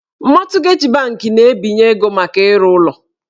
Mọtgeji banki na-ebinye ego maka ịrụ ụlọ